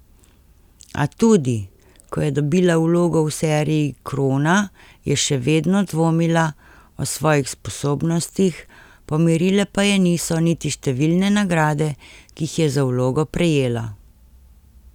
A tudi, ko je dobila vlogo v seriji Krona, je še vedno dvomila, o svojih sposobnostih, pomirile pa je niso niti številne nagrade, ki jih je za vlogo prejela.